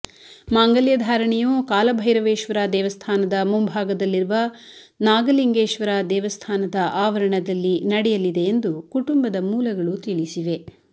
ಮಾಂಗಲ್ಯ ಧಾರಣೆಯು ಕಾಲಭೈರವೇಶ್ವರ ದೇವಸ್ಥಾನದ ಮುಂಭಾಗದಲ್ಲಿರುವ ನಾಗಲಿಂಗೇಶ್ವರ ದೇವಸ್ಥಾನದ ಆವರಣದಲ್ಲಿ ನಡೆಯಲಿದೆ ಎಂದು ಕುಟುಂಬದ ಮೂಲಗಳು ತಿಳಿಸಿವೆ